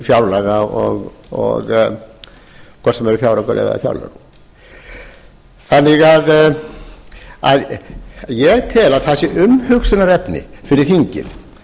fjárlaga og hvort sem það eru fjáraukalög eða fjárlög ég tel að það sé umhugsunarefni fyrir þingið